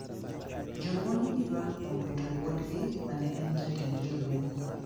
Joluo ni gi ywak kuom wito wuodgii mane en jatend jolweny